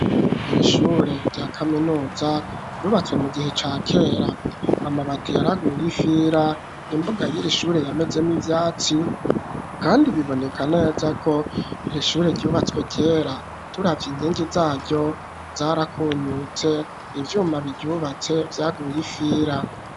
Ir'ishure rya kaminuza ryubatswe mu gihe ca kera ,amabati yaraguye ifira, imbuga y'iri shure yamezemwo ivyatsi, kandi biboneka neza ko ir'ishure ryubatswe kera, turavye inkingi zaryo zarakunyutse, ivyuma biryubatse vyaguye ifira.